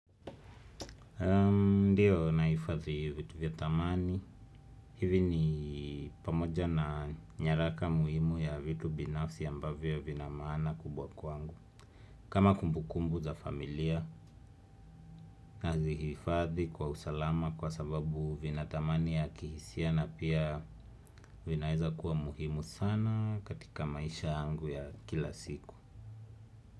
Ndiyo na hifadhi vitu vya dhamani. Hivi ni pamoja na nyaraka muhimu ya vitu binafsi ambavyo vina maana kubwa kwangu. Kama kumbukumbu za familia na zihifadhi kwa usalama kwa sababu vina dhamani ya kihisia na pia vinaeza kuwa muhimu sana katika maisha yangu ya kila siku.